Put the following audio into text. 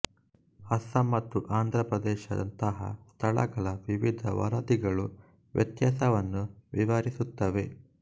ಅಸ್ಸಾಂ ಮತ್ತು ಆಂಧ್ರಪ್ರದೇಶದಂತಹ ಸ್ಥಳಗಳ ವಿವಿಧ ವರದಿಗಳು ವ್ಯತ್ಯಾಸವನ್ನು ವಿವರಿಸುತ್ತವೆ